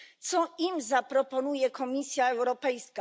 Co im zaproponuje Komisja Europejska?